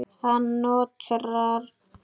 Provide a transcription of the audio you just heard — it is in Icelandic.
Hann nötrar.